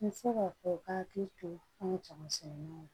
N bɛ se k'a fɔ u ka hakili to an ka jamasɛnnanw